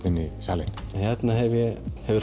inn